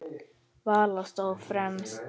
Vala stóð fremst.